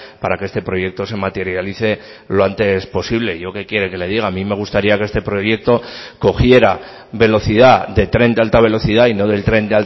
para que este proyecto se materialice lo antes posible yo qué quiere que le diga a mí me gustaría que este proyecto cogiera velocidad de tren de alta velocidad y no del tren